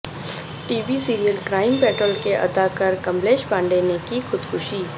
T V serial crime patrol کے اداکار کملیش پانڈے نے کی خودکشی